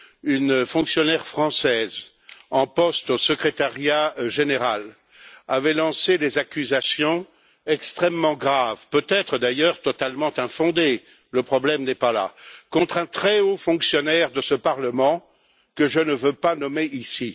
Une fonctionnaire française en poste au Secrétariat général avait lancé des accusations extrêmement graves, peut être d'ailleurs totalement infondées, le problème n'est pas là contre un très haut fonctionnaire de ce Parlement que je ne veux pas nommer ici.